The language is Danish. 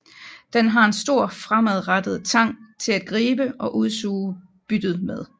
Den har en stor fremadrettet tang til at gribe og udsuge byttet med